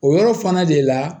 O yɔrɔ fana de la